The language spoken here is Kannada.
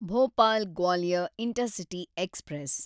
Bhopal Gwalior intercity express